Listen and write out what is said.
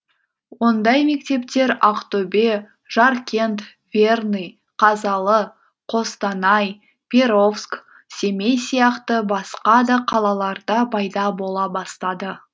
ондай мектептер ақтөбе жаркент верный қазалы қостанай перовск семей сияқты басқа да қалаларда пайда бола бастады